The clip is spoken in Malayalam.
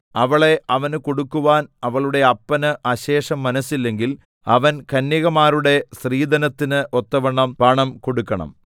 അവളെ അവന് കൊടുക്കുവാൻ അവളുടെ അപ്പന് അശേഷം മനസ്സില്ലെങ്കിൽ അവൻ കന്യകമാരുടെ സ്ത്രീധനത്തിന് ഒത്തവണ്ണം പണം കൊടുക്കണം